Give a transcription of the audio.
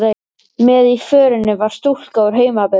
Með í förinni var stúlka úr heimabyggð